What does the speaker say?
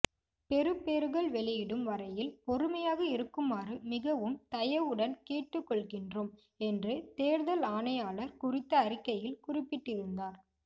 பெறுபேறுகள் வெளியிடும் வரையில் பொறுமையாக இருக்குமாறு மிகவும் தயவுடன் கேட்டுக்கொள்கின்றோம் என்று தேர்தல் ஆணையாளர் குறித்த அறிக்கையில் குறிப்பிட்டிருந்தார்